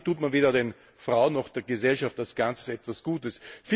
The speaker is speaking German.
Damit tut man weder den Frauen noch der Gesellschaft als Ganzes etwas Gutes.